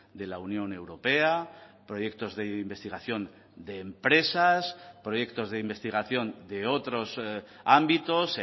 de la unión europea proyectos de investigación de empresas proyectos de investigación de otros ámbitos